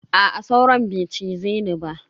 Aa sauron bai cize ni ba.